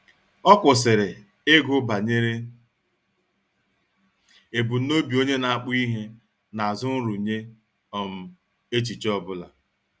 Ọ kwụsịrị ịgụ banyere ebumnobi onye na-akpụ ihe n'azụ nrụnye um echiche ọ bụla.